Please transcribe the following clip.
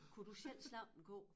Kunne du selv slagte en ko?